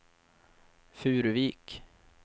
Furuvik